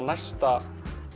næsta